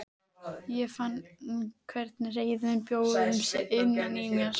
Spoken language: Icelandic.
Ég fann hvernig reiðin bjó um sig innan í mér.